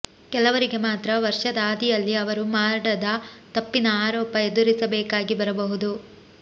ಕೆಲವರಿಗೆ ಮಾತ್ರ ವರ್ಷದ ಆದಿಯಲ್ಲಿ ಅವರು ಮಾಡದ ತಪ್ಪಿನ ಆರೋಪ ಎದುರಿಸಬೇಕಾಗಿ ಬರಬಹುದು